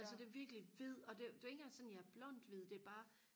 altså det er virkelig hvid og det det er ikke engang sådan jeg er blond hvid det er bare